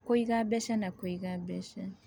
Kũiga Mbeca na Kũiga Mbeca